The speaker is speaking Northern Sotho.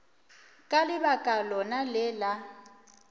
ka lebaka lona le la